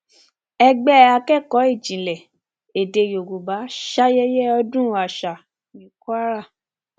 ẹgbẹ akẹkọọ ìjìnlẹ èdè yorùbá ṣayẹyẹ ọdún àṣà ní kwara